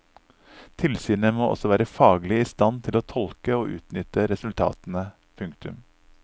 Tilsynet må også være faglig i stand til å tolke og utnytte resultatene. punktum